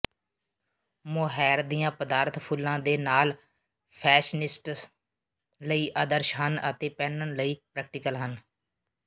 mohair ਦੀਆਂ ਪਦਾਰਥ ਫੁੱਲਾਂ ਦੇ ਨਾਲ ਫੈਸ਼ਨਿਸਟਸ ਲਈ ਆਦਰਸ਼ ਹਨ ਅਤੇ ਪਹਿਨਣ ਲਈ ਪ੍ਰੈਕਟੀਕਲ ਹਨ